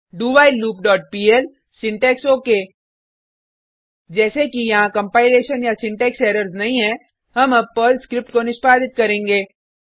dowhileloopपीएल syntax okay जैसे कि यहाँ कंपाइलेशन या सिंटेक्स एरर्स नहीं है हम अब पर्ल स्क्रिप्ट को निष्पादित करेंगे